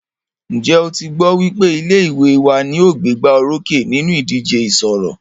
Ǹjẹ́ o tí gbọ́ wípé ilé ìwé wa ní o gbégbá orókè nínú ìdíje ìṣọ̀rọ̀?